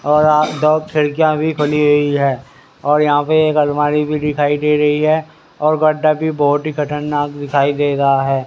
तो आज दो खिड़कियां भी खुली हुई है और यहां पर एक अलमारी भी दिखाई दे रही है और गड्डा भी बहुत ही खतरनाक दिखाई दे रहा है।